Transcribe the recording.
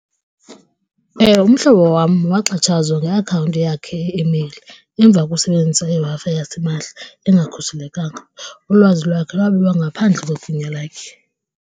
Ewe. umhlobo wam waxhatshazwa ngeakhawunti yakhe imeyili emva kusebenzisa iWi-Fi yasimahla engakhuselekanga. Ulwazi lwakhe lwabiwa ngaphandle kwegunya lakhe.